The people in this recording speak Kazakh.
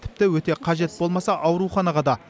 тіпті өте қажет болмаса ауруханаға да